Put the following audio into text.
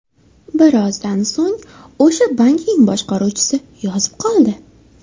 Birozdan so‘ng o‘sha bankning boshqaruvchisi yozib qoldi.